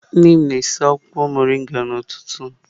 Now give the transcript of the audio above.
Nne m na-esi akwụkwọ mọrịnga kwa ụtụtụ